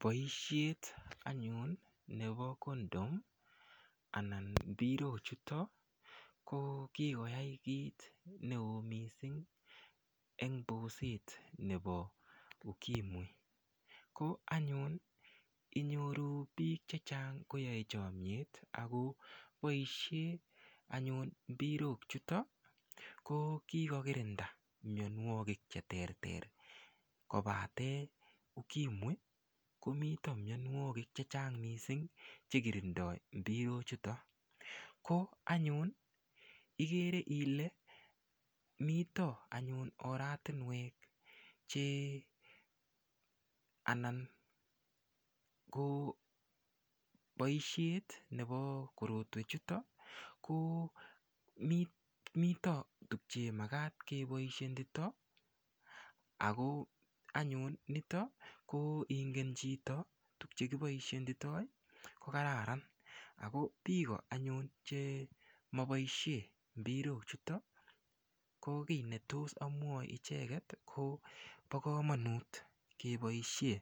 Boishet anyun nebo condom anan mpirochuto ko kikoyai kiit neo mising' eng' boset nebo ukimwi ko anyun inyoru biik chechang' koyoei chomyet ako boishe mpirok chuto ko kokirinda miyonwokik cheterter kobate ukimwi komito miyonwokik chechang' mising' chekitindoi mpirochuto ko anyun ikere ile mito anyun oratinwek anan ko boishet nebo korotwechuto ko mito tukche makat keboishetito ako anyun nito ngingen chito tukchekiboishetitoi ko kararan ako biko anyun chemaboishe mpirochuto ko kii netos amwochi icheget bo komonut keboishe